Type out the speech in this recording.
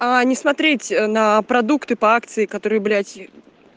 аа не смотреть на продукты по акции которые блять